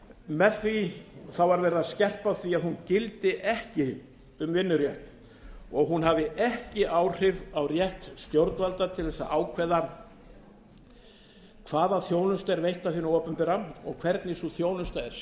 með því var verið að skerpa á því að hún gildi ekki um vinnurétt og hún hafi ekki áhrif á rétt stjórnvalda til að ákveða hvaða þjónusta er veitt af hinu opinbera og hvernig sú þjónusta er